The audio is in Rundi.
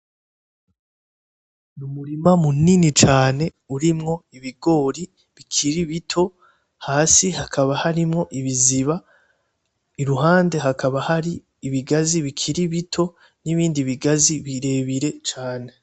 Umurima munini cane urimwo ibigori bikiri bito hasi hakaba harimwo ibiziba , iruhande hakaba hari ibigazi bikiri bito nibindi bigazi birebire cane .